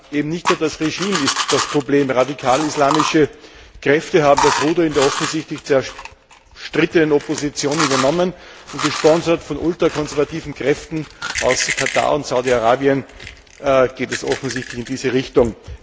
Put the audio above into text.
Aber nicht nur das Regime ist das Problem. Radikal islamische Kräfte haben das Ruder in der offensichtlich zerstrittenen Opposition übernommen, und gesponsert von ultrakonservativen Kräften aus Katar und Saudi Arabien geht es offensichtlich in diese Richtung.